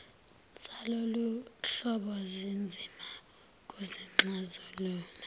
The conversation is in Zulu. zaloluhlobo zinzima kuzixazulula